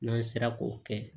N'an sera k'o kɛ